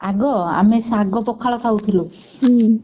ଆଗ ଆମେ ଶାଗ ପଖାଳ ଖାଉଥିଲୁ।